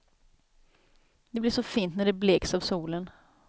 Det blir så fint när det bleks av solen.